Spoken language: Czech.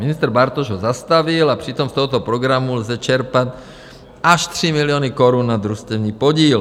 Ministr Bartoš ho zastavil, a přitom z tohoto programu lze čerpat až 3 miliony korun na družstevní podíl.